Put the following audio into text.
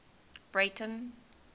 breyten